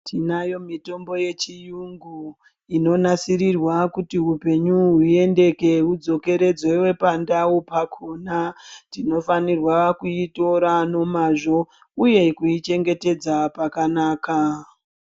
Tinayo mitombo yechiyungu inonasirirwa kuti upenyu huyendeke udzokeredzwe pandau pakona. Tinofanirwa kuitora nomazvo uye kuyi chengetedza pakanaka.